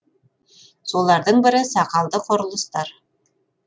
солардың бірі сақалды құрылыстар